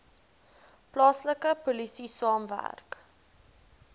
plaaslike polisie saamwerk